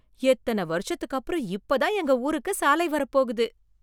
எத்தனை வருஷத்துக்கு அப்புறம் இப்பதான் எங்க ஊருக்கு சாலை வரப்போகுது